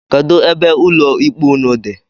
Kedu ebe ụlọ ikpe ụnụ dị?